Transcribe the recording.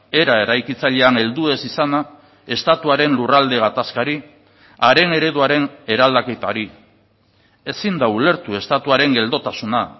era eraikitzailean heldu ez izana estatuaren lurralde gatazkari haren ereduaren eraldaketari ezin da ulertu estatuaren geldotasuna